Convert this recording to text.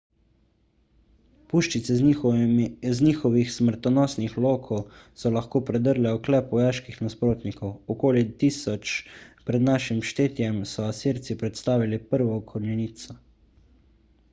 puščice z njihovih smrtonosnih lokov so lahko predrle oklep vojaških nasprotnikov okoli 1000 pr n š so asirci predstavili prvo konjenico